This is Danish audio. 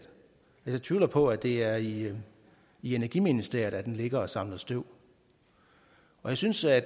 jeg tvivler på at det er i energiministeriet at den ligger og samler støv jeg synes at